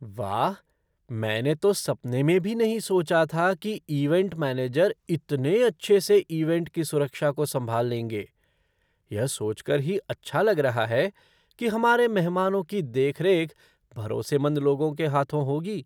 वाह, मैंने तो सपने में भी नहीं सोचा था कि ईवेंट मैनेजर इतने अच्छे से ईवेंट की सुरक्षा को संभाल लेंगे! यह सोचकर ही अच्छा लग रहा है कि हमारे मेहमानों की देखरेख भरोसेमंद लोगों के हाथों होगी।